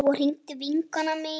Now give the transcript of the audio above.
Svo hringdi vinkona mín.